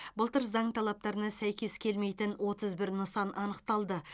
былтыр заң талаптарына сәйкес келмейтін отыз бір нысан анықталды